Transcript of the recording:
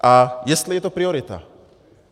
A jestli je to priorita.